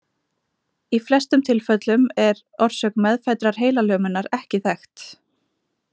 Í flestum tilfellum er orsök meðfæddrar heilalömunar ekki þekkt.